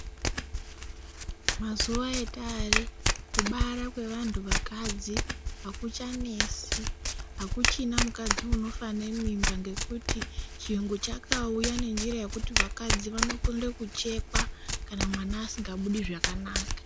Mazuva atari kubara kwevantu vakadzi hakuchanesi hakuchina mukadzi unofa nemimba, ngekuti chiyungu chakauya nenjira yekuti vakadzi vanokone kuchekwa kana mwana asingabudi zvakanaka.